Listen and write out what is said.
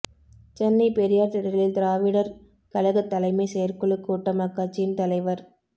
சென்னை பெரியார் திடலில் திராவிடர் கழகத் தலைமைச் செயற்குழுக் கூட்டம் அக்கட்சியின் தலைவர் கி